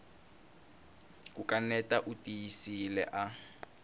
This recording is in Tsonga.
ku kaneta u tiyisile a